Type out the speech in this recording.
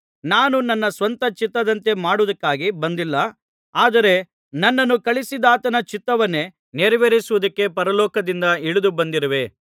ನಾನು ನನ್ನ ಸ್ವಂತ ಚಿತ್ತದಂತೆ ಮಾಡುವುದಕ್ಕಾಗಿ ಬಂದಿಲ್ಲ ಆದರೆ ನನ್ನನ್ನು ಕಳುಹಿಸಿದಾತನ ಚಿತ್ತವನ್ನೇ ನೆರವೇರಿಸುವುದಕ್ಕೆ ಪರಲೋಕದಿಂದ ಇಳಿದು ಬಂದಿರುವೆ